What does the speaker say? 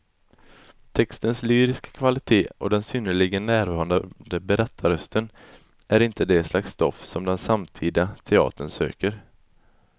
Textens lyriska kvalitet och den synnerligen närvarande berättarrösten är inte det slags stoff som den samtida teatern söker.